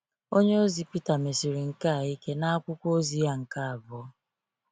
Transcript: Onyeozi Peter mesiri nke a ike n’akwụkwọ ozi ya nke abụọ.